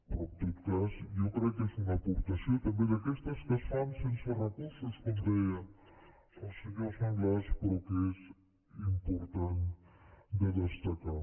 però en tot cas jo crec que és una aportació també d’aquestes que es fan sense recursos com deia al senyor sanglas però que és important de destacar